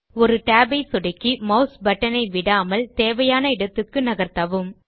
ஒரு tab ஐ சொடுக்கி மாஸ் பட்டன் ஐ விடாமல் தேவையான இடத்துக்கு நகர்த்தவும்